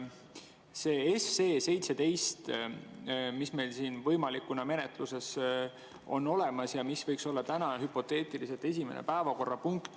See seaduseelnõu 17, mis meil siin menetluses on olemas ja mis võiks olla täna hüpoteetiliselt esimene päevakorrapunkt.